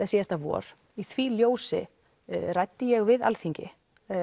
síðasta vor í því ljósi ræddi ég við Alþingi